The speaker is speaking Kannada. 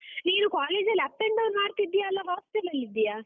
ನೀನು ಕಾಲೇಜಲ್ಲಿ up and down ಮಾಡ್ತಿದ್ದೀಯಾ ಅಲ್ಲ hostel ಲಲ್ಲಿದ್ದೀಯ?